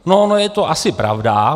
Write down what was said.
No, ono je to asi pravda.